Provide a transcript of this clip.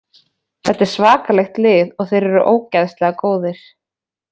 Þetta er svakalegt lið og þeir eru ógeðslega góðir.